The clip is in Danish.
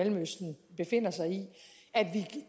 mellemøsten befinder sig i at vi